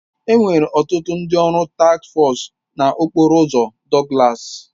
Enwere ọtụtụ ndị ọrụ task foosu na okporo ụzọ Douglas